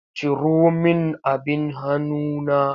Ciro min abin hanuna!